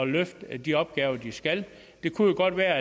løfte de opgaver de skal det kunne jo godt være